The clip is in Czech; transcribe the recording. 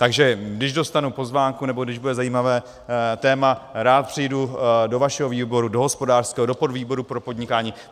Takže když dostanu pozvánku nebo když bude zajímavé téma, rád přijdu do vašeho výboru, do hospodářského, do podvýboru pro podnikání.